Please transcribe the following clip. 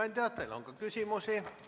Hea ettekandja, teile on küsimusi.